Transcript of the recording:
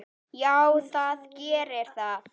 Já, það gerir það.